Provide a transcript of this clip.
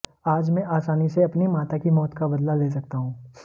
आज मैं आसानी से अपनी माता की मौत का बदला ले सकता हूं